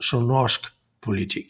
samnorskpolitik